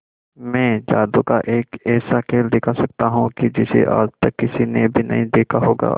मैं जादू का एक ऐसा खेल दिखा सकता हूं कि जिसे आज तक किसी ने भी नहीं देखा होगा